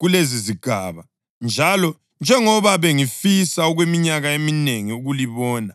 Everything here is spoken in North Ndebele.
kulezizigaba, njalo njengoba bengifisa okweminyaka eminengi ukulibona,